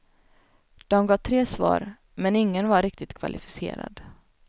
De gav tre svar, men ingen var riktigt kvalificerad.